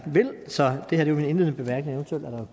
så det her var mine indledende bemærkninger